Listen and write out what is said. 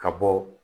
Ka bɔ